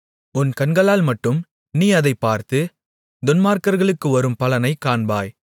உன் கண்களால்மட்டும் நீ அதைப் பார்த்து துன்மார்க்கர்களுக்கு வரும் பலனைக் காண்பாய்